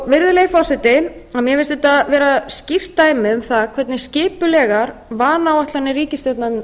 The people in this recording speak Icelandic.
virðulegi forseti mér finnst þetta vera skýrt dæmi um það hvernig skipulegar vanáætlanir ríkisstjórnarinnar